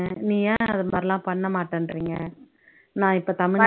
நீ ஏன் இந்த மாதிரி எல்லாம் பண்ண மாட்டேனுறீங்க நான் இப்போ தமிழ்